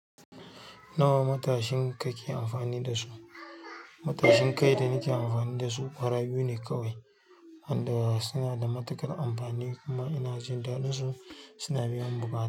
Nawa matashin kake amfani da su? Matashin kai da nake amfani da suƙwara biyu ne kawai, inda suna da matuƙar amfani kuma ina jin daɗin su. Suna biyan buƙata.